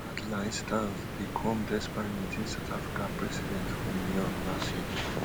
hardlines stance dey come despite meeting south africa president for new york last year